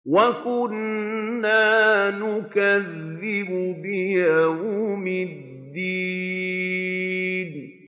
وَكُنَّا نُكَذِّبُ بِيَوْمِ الدِّينِ